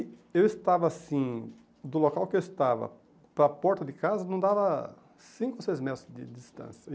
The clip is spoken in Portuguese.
E eu estava assim, do local que eu estava para a porta de casa, não dava cinco ou seis metros de distância.